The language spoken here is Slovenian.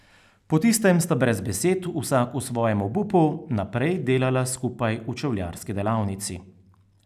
Po tistem sta brez besed, vsak v svojem obupu naprej delala skupaj v čevljarski delavnici.